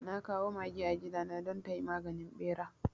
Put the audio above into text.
Na kawo mage a gidana don tayi maganin ɓera